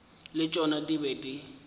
le tšona di bego di